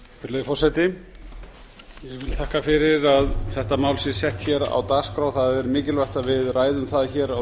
forseti ég vil þakka fyrr að þetta mál sé sett hér á dagskrá það er mikilvægt að við ræðum það hér á